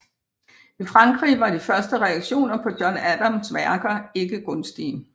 I Frankrig var de første reaktioner på John Adams værker ikke gunstige